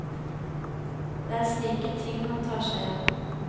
Det er slike ting han tar seg av.